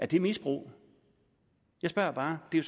det misbrug jeg spørger bare det er